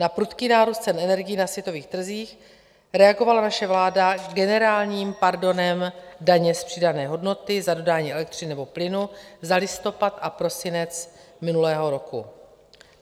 Na prudký nárůst cen energií na světových trzích reagovala naše vláda generálním pardonem daně z přidané hodnoty za dodání elektřiny nebo plynu za listopad a prosinec minulého roku.